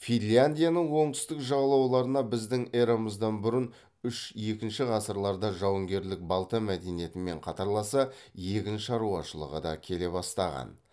финляндияның оңтүстік жағалауларына біздің эрамыздан бұрын үш екінші ғасырда жауынгерлік балта мәдениетімен қатарласа егін шаруашылығы да келе бастаған